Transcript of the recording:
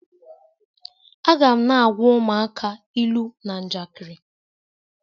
Aga m na-agwa ụmụaka ilu na njakịrị.